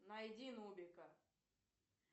найди нубика